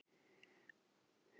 Hafdís Alda endaði önnur.